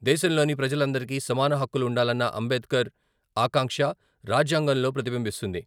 దేశంలోని ప్రజలందరికి సమాన హక్కులు ఉండాలన్న అంబేద్కర్ ఆకాంక్ష రాజ్యాంగంలో ప్రతిబింబిస్తుంది.